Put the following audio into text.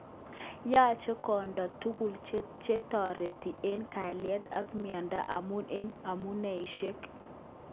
Yoche konde tuguk chetoreti eng kalyet ak mieindo amun eng amuneishek.